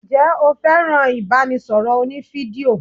Ǹjẹ́ o fẹ́ràn ibanisoro òní-fídíò?